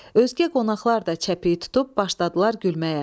Özgə qonaqlar da çəpih tutub başladılar gülməyə.